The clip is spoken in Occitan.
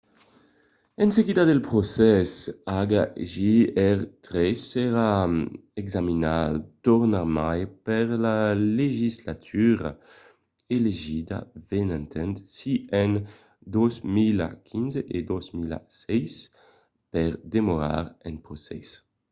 en seguida del procès hjr-3 serà examinat tornarmai per la legislatura elegida venenta si en 2015 o 2016 per demorar en procès